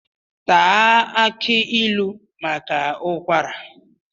Taa aki ilu maka ụkwara